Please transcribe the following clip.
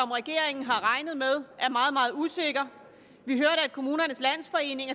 regeringen har regnet med er meget meget usikker vi hørte at kommunernes landsforening